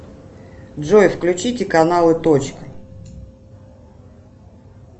джой включите каналы точка